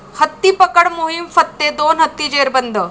हत्तीपकड मोहिम फत्ते, दोन हत्ती जेरबंद!